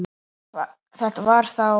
Þetta var þá